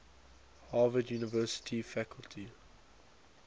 harvard university faculty